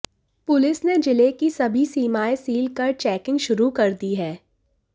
police ने जिले की सभी सीमाएं सील कर चेकिंग शुरू कर दी है